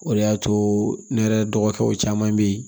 O de y'a to ne yɛrɛ dɔgɔkɛw caman bɛ yen